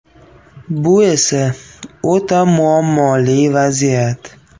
Bu esa o‘ta muammoli vaziyat.